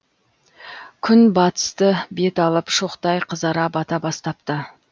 күн батысты бет алып шоқтай қызара бата бастапты